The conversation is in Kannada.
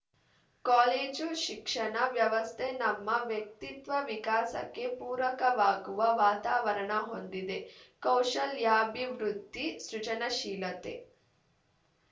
ಕಾಲೇಜು ಶಿಕ್ಷಣ ವ್ಯವಸ್ಥೆ ನಮ್ಮ ವ್ಯಕ್ತಿತ್ವ ವಿಕಾಸಕ್ಕೆ ಪೂರಕವಾಗುವ ವಾತಾವರಣ ಹೊಂದಿದೆ ಕೌಶಲ್ಯಾಭಿವೃದ್ಧಿ ಸೃಜನಶೀಲತೆ